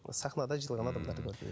сахнада жиналған адамдарды көрдім